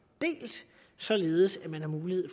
delt således at man har mulighed